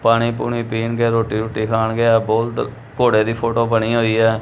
ਪਾਣੀ ਪੂਣੀ ਪੀਣਗੇ ਰੋਟੀ ਰੂਟੀ ਖਾਣਗੇ ਇਹ ਬੋਲਦ ਘੋੜੇ ਦੀ ਫੋਟੋ ਬਣੀ ਹੋਈ ਐ।